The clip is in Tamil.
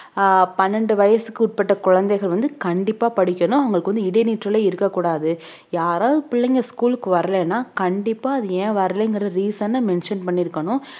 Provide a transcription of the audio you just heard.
ஆஹ் பன்னெண்டு வயசுக்கு உட்பட்ட குழந்தைகள் வந்து கண்டிப்பா படிக்கணும் அவங்களுக்கு வந்து இடைநிற்றலே இருக்க கூடாது யாராவது பிள்ளைங்க school க்கு வரலைன்னா கண்டிப்பா அது ஏன் வரலைங்கற reason அ mention பண்ணிருக்கணும்